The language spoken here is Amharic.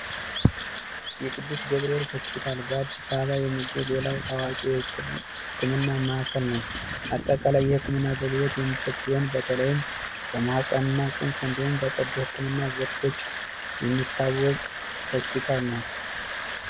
የቅዱስ ገብርኤል ሆስፒታል በ አዲስ አበባ የሚገኝ ሌላው ታዋቂ ህክምና ማዕከል ነዉ። አጠቃላይ የህክምና አገልግሎት የሚሰጥ ሲሆን ይህም በተለይም በማህፀን እና ፅንሰ እዲሁም በቀዶ ህክምና ዘርፎች የሚታወቅ ሆስፒታል ነዉ።